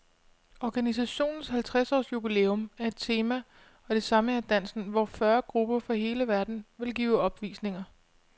Organisationens halvtreds års jubilæum er et tema, og det samme er dansen, hvor fyrre grupper fra hele verden vil give opvisninger.